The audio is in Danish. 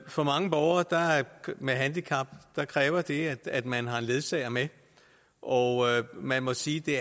for mange borgere med handicap kræver det at man har en ledsager med og man må sige det